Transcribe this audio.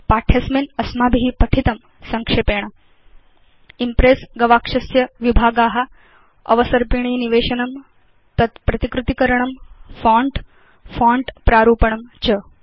पाठे अस्मिन् अस्माभि पठितं संक्षेपेण Impress गवाक्षस्य विभागा अवसर्पिणी निवेशनं तत् प्रतिकृति करणं फोंट फोंट प्रारूपणं च